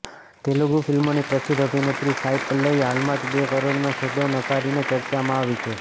તેલુગુ ફિલ્મોની પ્રસિદ્ધ અભિનેત્રી સાઈ પલ્લવી હાલમાં જ બે કરોડનો સોદો નકારીને ચર્ચામાં આવી છે